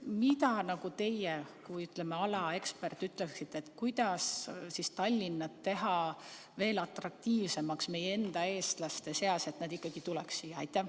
Mida teie kui selle ala ekspert ütleksite, kuidas teha Tallinna meie enda eestlaste seas veel atraktiivsemaks, et nad tuleks siia?